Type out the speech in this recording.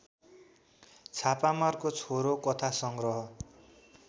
छापामारको छोरो कथासंग्रह